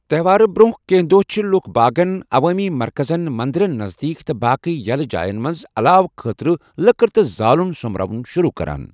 تہوارٕ برٛونٛہہ کینٛہہ دۄہ چھِ لُکھ باغن، عوٲمی مرکَزن، منٛدرن نزدیٖک تہٕ باقٕے یَلہٕ جاین منٛز اَلاو خٲطرٕ لٔکٕر تہٕ زالٗن سوٚمراوُن شُروٗع کَران۔